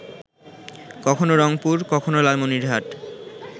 কখনো রংপুর, কখনো লালমনিরহাট